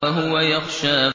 وَهُوَ يَخْشَىٰ